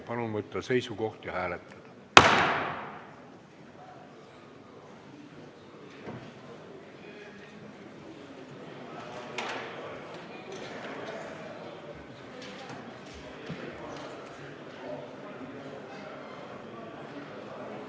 Palun võtta seisukoht ja hääletada!